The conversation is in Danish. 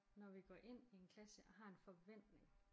Når vi går ind i en klasse og har en forventning